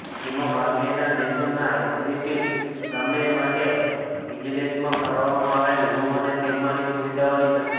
એમાં ભાગ લેનાર દેશોના એથ્લીટ્સ માટે ગેમ્સ વિલેજમાં ફાળવવામાં આવેલા રૂમ અને તેમાંની સુવિધાઓની તસવીર